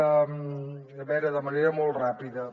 a veure de manera molt ràpida